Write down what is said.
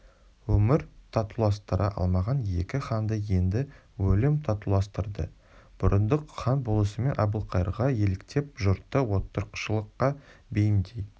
өмір татуластыра алмаған екі ханды енді өлім татуластырды бұрындық хан болысымен әбілқайырға еліктеп жұртты отырықшылыққа бейімдей